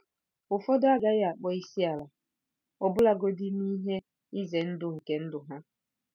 Ụfọdụ agaghị akpọ isi ala - ọbụlagodi n'ihe ize ndụ nke ndụ ha.